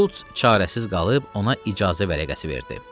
Şulc çarəsiz qalıb ona icazə vərəqəsi verdi.